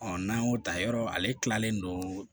n'an y'o ta yɔrɔ ale kilalen don